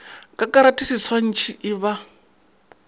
ka karate seswantšhi e ba